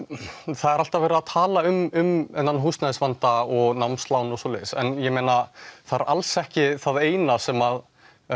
það er alltaf verið að tala um þennan húsnæðisvanda og námslán og svoleiðis en ég meina það er alls ekki það eina sem